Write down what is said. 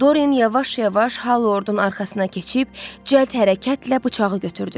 Dorin yavaş-yavaş Halordun arxasına keçib cəld hərəkətlə bıçağı götürdü.